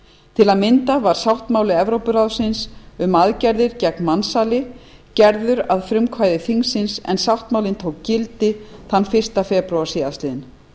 til að mynda var sáttmáli evrópuráðsins um aðgerðir gegn mansali gerður að frumkvæði þingsins en sáttmálinn tók gildi fyrsta febrúar síðastliðinn